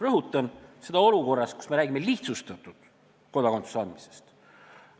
Rõhutan, et tegemist on olukorraga, kus me räägime lihtsustatud korras kodakondsuse andmisest.